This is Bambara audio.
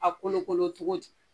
A bɛ kolokolo cogo di